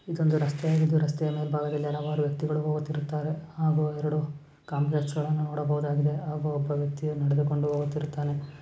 ಇದೊಂದು ರಸ್ತೆಯಾಗಿದ್ದು ರಸ್ತೆಯ ಮೇಲ್ಭಾಗದಲ್ಲಿ ಹಲವಾರು ವ್ಯಕ್ತಿಗಳು ಹೋಗುತ್ತಿರುತ್ತಾರೆ ಹಾಗೂ ಎರಡು ಕಾಂಪ್ಲೆಕ್ಸ್ ಗಳನ್ನು ನೋಡಬಹುದಾಗಿದೆ ಹಾಗೂ ಒಬ್ಬ ವ್ಯಕ್ತಿ ನಡೆದುಕೊಂಡು ಹೋಗುತ್ತಿರುತ್ತಾನೆ.